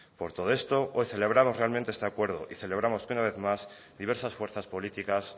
por todo esto hoy celebramos realmente este acuerdo y celebramos que una vez más diversas fuerzas políticas